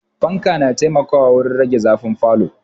Fanka na taimakawa wurin rage zafin falo